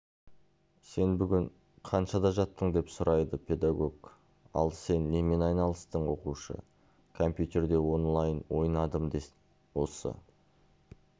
сен бүгін қаншада жаттың деп сұрайды педагог ал сен немен айналыстың оқушы компьютерде онлайн ойнадым осы